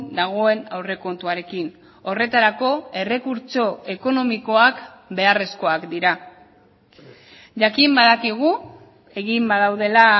dagoen aurrekontuarekin horretarako errekurtso ekonomikoak beharrezkoak dira jakin badakigu egin badaudela